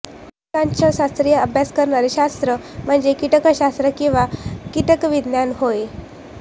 कीटकांचा शास्त्रीय अभ्यास करणारे शास्त्र म्हणजे कीटकशास्त्र किंवा कीटकविज्ञान होय